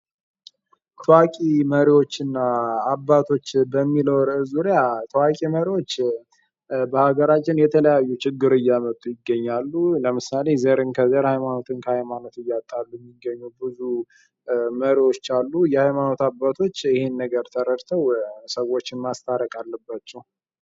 ታዋቂ አባቶችና መሪዎች በሚለው ርዕስ ዙሪያ ታዋቂ መሪዎች በሃገራችን ችግር እያመጡ ይገኛሉ። ለምሳሌ ዘርን ከዘር ፣ ሃይማኖትን ከሃይማኖት እያታሉ የሚገኙ ብዙ መሪዎች አሉ። የሃይማኖት አባቶች ይህንን ተረድተው ሰዎችን ማስታረቅ አለባቸው።